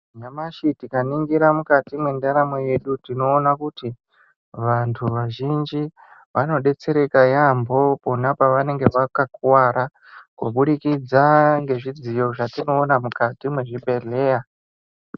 Nyamashi tikaningira mukati mwendaramo yedu, tinoona kuti vantu vazhinji vanodetsereka yaambo pona pavanenge vakakuvara kuburikidza ngezvidziyo zvatinoona mwukati mwezvibhedhleya.